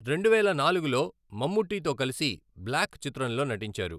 రెండువేల నాలుగులో మమ్ముట్టితో కలసి బ్లాక్ చిత్రంలో నటించారు.